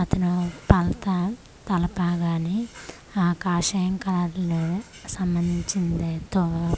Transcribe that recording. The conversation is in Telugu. అతను పాల్తాం తలపాగాని ఆ కాశయం కార్లో సంబంధించినదేతో.